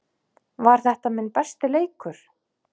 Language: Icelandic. Var þetta minn besti leikur?